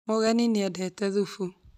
Mũgeni nĩ endete thũfu